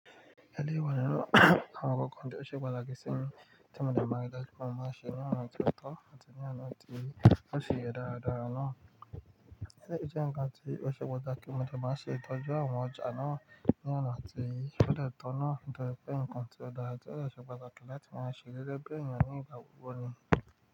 Àwọn agbógun tí ó ṣe pàtàkì sí ń tẹmo mọ́ bí a ṣe máa ń ṣe ìyàrá ti ọ̀tọ̀ àti ìyàrá ti ó ṣe é dáradára náà. Ẹni tí ó jẹ́ ǹkan tí ó ṣe pàtàkì mọ́ jẹ́ máa ṣe ìdájọ́ àwọn ọjà náà, ìyàrá ti fẹ́lẹ́ ọ̀tọ̀ náà, ìdòtí ǹkan tí ó dára tí ó le ṣe pàtàkì láti máa ṣe lẹ́bẹ́ èèyàn oní ìbáwí wọni.